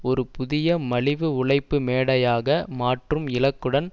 ஒரு புதிய மலிவு உழைப்பு மேடையாக மாற்றும் இலக்குடன்